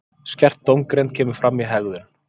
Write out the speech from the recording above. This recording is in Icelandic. Skert dómgreind sem kemur fram í hegðun.